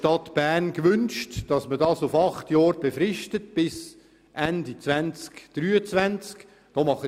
Die Stadt Bern hat allerdings gewünscht, das Zentrum im Zieglerspital auf acht Jahre, also bis Ende 2023 zu befristen.